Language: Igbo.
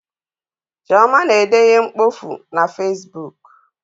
Chioma na-ede ihe mkpofu na fesbuk